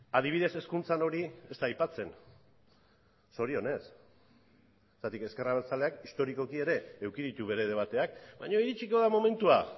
adibidez hezkuntzan hori ez da aipatzen zorionez zergatik ezker abertzaleak historikoki ere eduki ditu bere debateak baina iritsiko da momentua